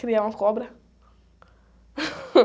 Criar uma cobra.